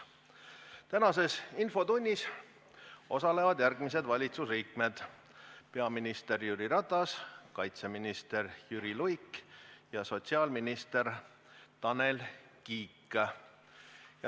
Tänases infotunnis osalevad järgmised valitsuse liikmed: peaminister Jüri Ratas, kaitseminister Jüri Luik ja sotsiaalminister Tanel Kiik.